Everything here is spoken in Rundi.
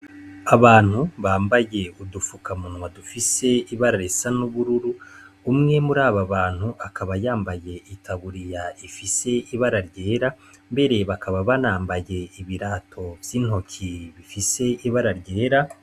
Abantu bambaye udufukamunwa dufise ibara risa n'ubururu umwe mur'aba bantu akaba yambaye itaburiya rifise ibara ryera mbere bakaba banambaye ibirato vy'intoki bifise ibara ryera.